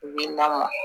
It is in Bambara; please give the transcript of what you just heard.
Wil'a ma